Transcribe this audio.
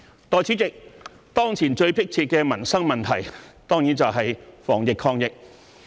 代理主席，當前最迫切的民生問題當然是防疫抗疫。